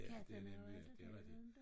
Ja det er nemlig det rigtigt